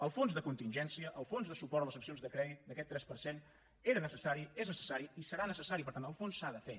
el fons de contingència el fons de suport a les seccions de crèdit d’aquest tres per cent era necessari és necessari i serà necessari per tant el fons s’ha de fer